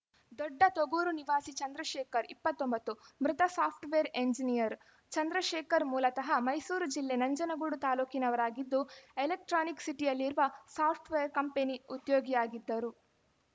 ದೊಡ್ಡ ತೊಗೂರು ನಿವಾಸಿ ಚಂದ್ರಶೇಖರ್‌ ಇಪ್ಪತ್ತ್ ಒಂಬತ್ತು ಮೃತ ಸಾಫ್ಟ್‌ವೇರ್‌ ಎಂಜಿನಿಯರ್‌ ಚಂದ್ರಶೇಖರ್‌ ಮೂಲತಃ ಮೈಸೂರು ಜಿಲ್ಲೆ ನಂಜನಗೂಡು ತಾಲೂಕಿನವರಾಗಿದ್ದು ಎಲೆಕ್ಟ್ರಾನಿಕ್‌ ಸಿಟಿಯಲ್ಲಿರುವ ಸಾಫ್ಟ್‌ವೇರ್‌ ಕಂಪನಿ ಉದ್ಯೋಗಿಯಾಗಿದ್ದರು